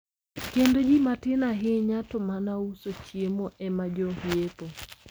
Kendo ji matin ahinya to ma uso chiemo ema jo yepo.